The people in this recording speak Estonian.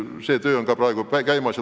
See töö on ka praegu käimas.